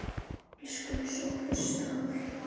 Elsku Sófus Þór.